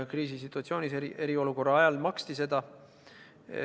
Kriisisituatsioonis, eriolukorra ajal maksti seda.